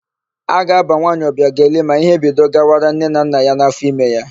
A ga-ábà nwaanyị Ọbịageli ma íhé bido gawara nne na nna ya n'áfọime ya.